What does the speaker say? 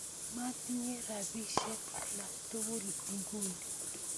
Matinye rapisyek alak tukul nguni